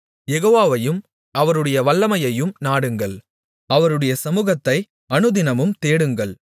யெகோவாவையும் அவருடைய வல்லமையையும் நாடுங்கள் அவருடைய சமுகத்தை அனுதினமும் தேடுங்கள்